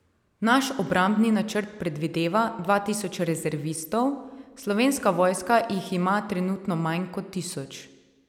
Naš obrambni načrt predvideva dva tisoč rezervistov, slovenska vojska jih ima trenutno manj kot tisoč.